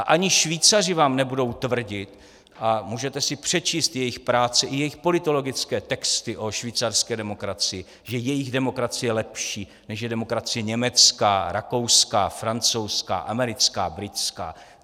A ani Švýcaři vám nebudou tvrdit, a můžete si přečíst jejich práce i jejich politologické texty o švýcarské demokracii, že jejich demokracie je lepší, než je demokracie německá, rakouská, francouzská, americká, britská.